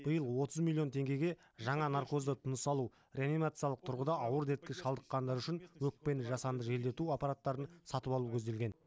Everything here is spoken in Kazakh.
биыл отыз миллион теңгеге жаңа наркозды тыныс алу реанимациялық тұрғыда ауыр дертке шалдыққандар үшін өкпені жасанды желдету аппараттарын сатып алу көзделген